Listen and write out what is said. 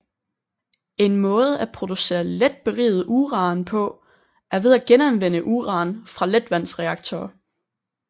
En måde at producere let beriget uran på er ved at genanvende uran fra letvandsreaktorer